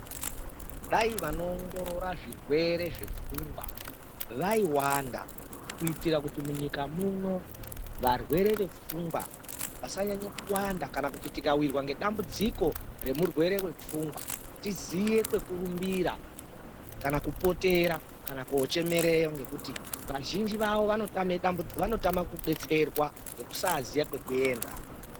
Dai vanowongorora zvirwere zvepfungwa vaiwanda kuitire kuti munyika muno varwere vepfungwa vasanyanya kuwanda kana kuti tikawirwa nedambudziko remurwere wepfungwa tiziye kwekurumbira kana kopotera kana kochemereyo ngekuti vazhinji vavo vanotame kudetserwa ngekusaziya kwekuenda.